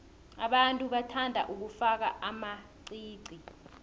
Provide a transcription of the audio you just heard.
abantu bathanda ukufaka amaqiqi